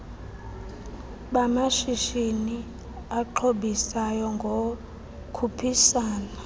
bamashishini axhobisayo ngokukhuphisana